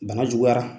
Bana juguyara